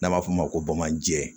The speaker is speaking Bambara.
N'an b'a f'o ma ko bamananjɛ